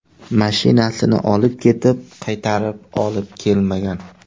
mashinani olib ketib, qaytarib olib kelmagan.